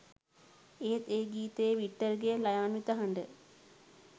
ඒත් ඒ ගීතයේ වික්ටර්ගේ ළයාන්විත හඬ